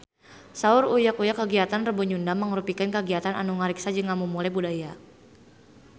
Saur Uya Kuya kagiatan Rebo Nyunda mangrupikeun kagiatan anu ngariksa jeung ngamumule budaya Sunda